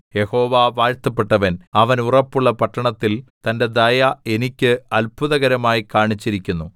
യഹോവ വാഴ്ത്തപ്പെട്ടവൻ അവൻ ഉറപ്പുള്ള പട്ടണത്തിൽ തന്റെ ദയ എനിക്ക് അത്ഭുതകരമായി കാണിച്ചിരിക്കുന്നു